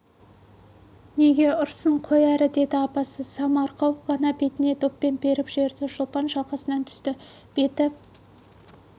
неге ұрсын қой әрі деді апасы самарқау ғана бетіне доппен періп жіберді шолпан шалқасынан түсті беті